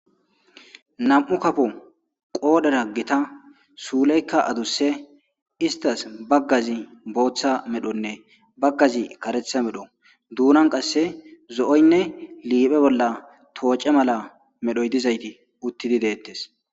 nam7u kapo qoodhera gita suuleykka adusse istas baggazi booththa medhonne baggazi karetha medho duunan qasse zo7oynne liiphe bolla tooce mala medhoy dizayti uttidi deettes